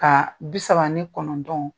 Ka bi saba ani kɔnɔntɔn